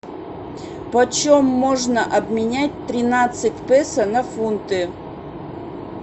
по чем можно обменять тринадцать песо на фунты